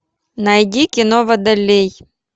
найди кино водолей